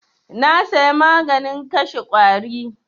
Na saya maganin kashe ƙwari.